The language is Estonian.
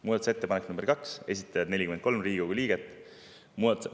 Muudatusettepanek nr 2, esitajad 43 Riigikogu liiget.